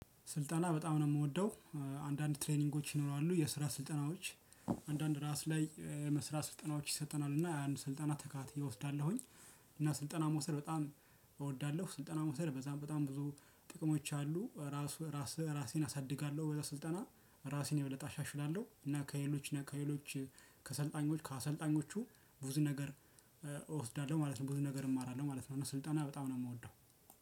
ስልጠና በጣም ነው የምወደው። አንዳንድ ትሬኒንጎች ይኖራሉ። የስራ ስልጠናዎች አንዳንድ ራስ ላይ የመስራ ስልጠናዎች ይሰጠናል። እና ያን ስልጠና ተከታትየ እየወስዳለሁኝ። እና ስልጠና መውሰድ በጣም እወዳለሁ። ስልጠና መውሰድ በጣም በጣም ብዙ ጥቅሞች አሉ። ራስ ራስ ራሴን አሳድጋለሁ በዛ ስልጠና። ራሴን የበለጠ አሻሽላለሁ። ጰ እና ከሌሎች እና ከሄሎች ከሰልጣኞች ከአሰልጣኞቹ ብዙ ነገር እወስዳለሁ ማለት ነው። ብዙ ነገር እማራለው ማለት ነው። እና ስልጠና በጣም ነው የምወደው። ጨ